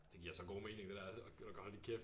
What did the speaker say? Det giver så god mening det der gider du godt holde din kæft